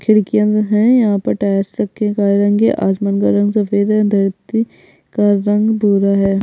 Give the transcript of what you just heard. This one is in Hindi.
खिड़किया भी है यहाँ पर आसमान का रंग सफ़ेद धरती का रंग भूरा है।